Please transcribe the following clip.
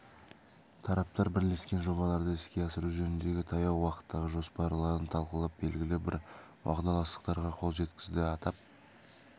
тараптар бірлескен жобаларды іске асыру жөніндегі таяу уақыттағы жоспарларын талқылап белгілі бір уағдаластықтарға қол жеткізді атап